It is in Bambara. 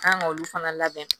Kan ka olu fana labɛn